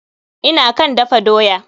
Ina kan dafa doya.